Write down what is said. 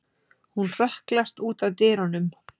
Hún hrökklast út að dyrunum.